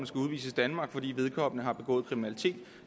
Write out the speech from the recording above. skal udvises af danmark fordi vedkommende har begået kriminalitet